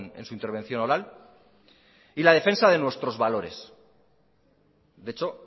en su intervención oral y la defensa de nuestros valores de hecho